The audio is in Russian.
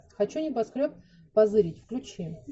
хочу небоскреб позырить включи